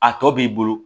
A tɔ b'i bolo